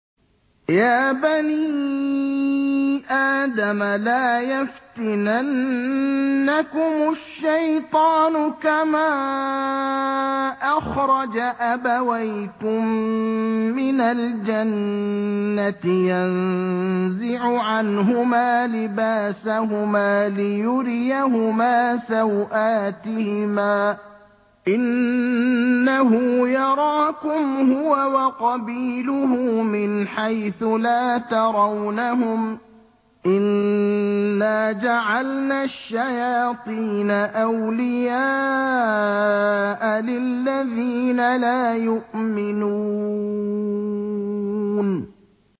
يَا بَنِي آدَمَ لَا يَفْتِنَنَّكُمُ الشَّيْطَانُ كَمَا أَخْرَجَ أَبَوَيْكُم مِّنَ الْجَنَّةِ يَنزِعُ عَنْهُمَا لِبَاسَهُمَا لِيُرِيَهُمَا سَوْآتِهِمَا ۗ إِنَّهُ يَرَاكُمْ هُوَ وَقَبِيلُهُ مِنْ حَيْثُ لَا تَرَوْنَهُمْ ۗ إِنَّا جَعَلْنَا الشَّيَاطِينَ أَوْلِيَاءَ لِلَّذِينَ لَا يُؤْمِنُونَ